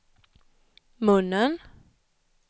munnen